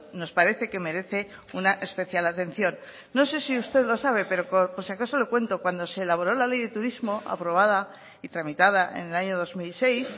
nos parece que merece una especial atención no sé si usted lo sabe pero por si acaso lo cuento cuando se elaboró la ley de turismo aprobada y tramitada en el año dos mil seis